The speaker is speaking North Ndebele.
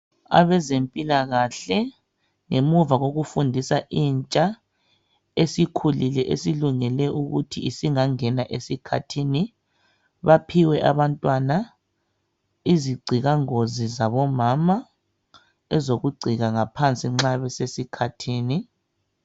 Abezempilakahle ngemuva kokufundisa intsha esikhulile esilungele ukuthi isingangena esikhathini baphiwe abantwana izigcikangozi zabomama ezokugcika ngaphansi nxa besesikhathini.